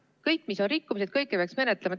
Kõiki, mis on rikkumised, peaks menetlema.